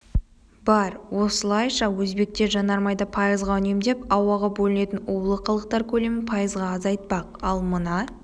бар осылайша өзбектер жанармайды пайызға үнемдеп ауаға бөлінетін улы қалдықтар көлемін пайызға азайтпақ ал мына